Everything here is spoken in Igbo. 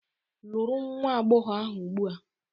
Lụrụ nwa agbọghọ ahụ ugbu a!